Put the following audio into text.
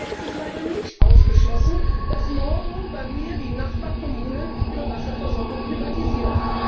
Und daher ist es leider nicht ausgeschlossen, dass morgen meine Nachbargemeinde die Wasserversorgung privatisiert.